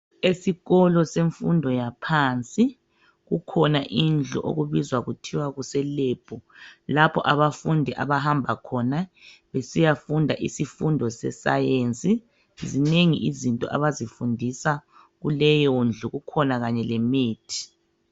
Esikolo semfundo yaphansi kukhona indlu okubizwa kuthiwa kuselebhu lapho abafundi abahamba khona besiyafunda isifundo sesayensi .Zinengi izinto abazifundisa kuleyondlu kukhona kanye lemithi.